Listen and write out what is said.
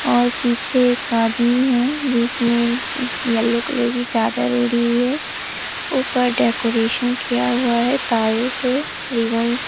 और पीछे एक आदमी है जिसने येलो कलर की चादर ओढ़ी हुई है ऊपर डेकोरेशन किया हुआ है तारों से रिबन से।